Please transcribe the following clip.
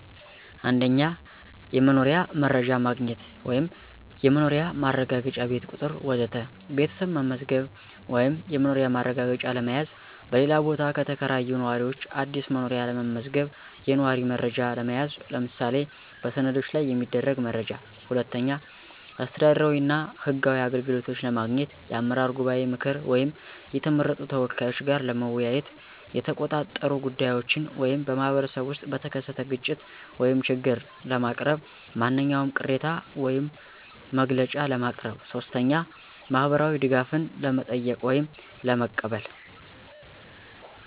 1. የመኖሪያ መረጃ ማግኘት (የመኖሪያ ማረጋገጫ፣ ቤት ቁጥር ወዘተ) ቤተሰብ መዝገብ ወይም የመኖሪያ ማረጋገጫ ለመያዝ፣ በሌላ ቦታ የተከራዩ ነዋሪዎች አዲስ መኖሪያ ለመመዝገብ፣ የነዋሪ መረጃ ለመያዝ (ምሳሌ በሰነዶች ላይ የሚፈለግ መረጃ)። 2. አስተዳደራዊ እና ህጋዊ አገልግሎቶች ለማግኘት የአመራር ጉባኤ ምክር ወይም የተመረጡ ተወካዮች ጋር ለመወያየት፣ የተቆጣጠሩ ጉዳዮችን (በማኅበረሰብ ውስጥ በተከሰተ ግጭት ወይም ችግር) ለማቅረብ፣ ማንኛውም ቅሬታ ወይም መግለጫ ለማቅረብ። 3. ማህበራዊ ድጋፍን ለመጠየቅ ወይም ለመቀበል